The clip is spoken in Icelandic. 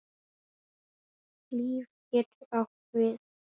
LÍF getur átt við